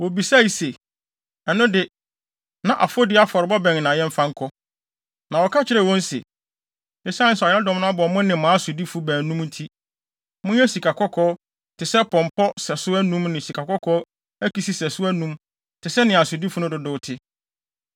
Wobisae se, “Ɛno de, na afɔdi afɔre bɛn na yɛmfa nkɔ?” Na wɔka kyerɛɛ wɔn se, “Esiane sɛ ɔyaredɔm no abɔ mo ne mo asodifo baanum nti, monyɛ sikakɔkɔɔ + 6.4 Sikakɔkɔɔ nneɛma no yɛ nneɛma a na wɔyɛ de sɔ anyame no ani. te sɛ pɔmpɔ sɛso anum ne sikakɔkɔɔ akisi sɛso anum te sɛ nea asodifo no dodow te.